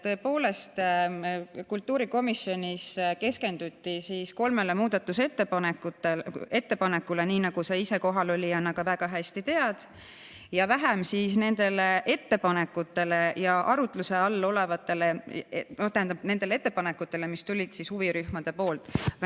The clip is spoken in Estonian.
Tõepoolest, kultuurikomisjonis keskenduti kolmele muudatusettepanekule, nii nagu sa ise kohalolnuna ka väga hästi tead, ja vähem nendele ettepanekutele, mis tulid huvirühmadelt.